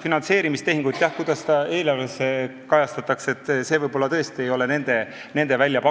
Finantseerimistehing, jah, ma ei tea, see, kuidas seda eelarves kajastatakse, see võib-olla tõesti ei ole nende